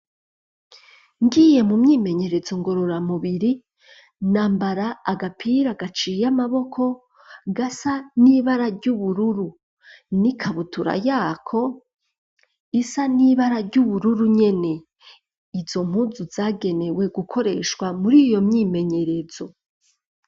Ngiye mu myimenyerezo ngorora mubiri nambara agapira gaciye amaboko gasa n'ibara ry'ubururu n'ikabutura yako isa n'ibara ry'ubururu nyene izo mpuzu zagenewe gukoreshwa muri iyo myimenyerezo.